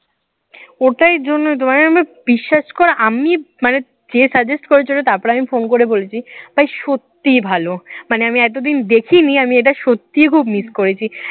ওটার জন্যই তো মানে আমার বিশ্বাস কর আমি মানে যে suggest করেছে তারপর আমি phone করে বলছি ভাই সত্যিই ভালো। মানে আমি এতদিন দেখিনি আমি এটা সত্যিই খুব miss করেছি।